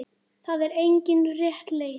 Það er engin rétt leið.